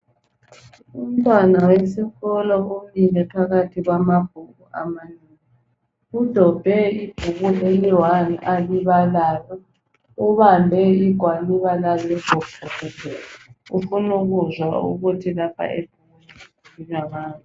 Umntwana wesikolo umile phakathi kwamabhuku amanengi. Udobhe ibhuku eliyi one alibalayo, ubambe igwaliba lalelo bhuku. Ufuna ukuzwa ukuthi lapha ebhukwini kukhulunywa ngani.